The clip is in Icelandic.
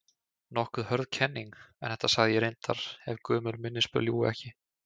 Nokkuð hörð kenning, en þetta sagði ég reyndar- ef gömul minnisblöð ljúga ekki.